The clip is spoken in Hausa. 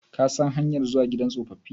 Ka san hanyar zuwa gidan tsofaffi?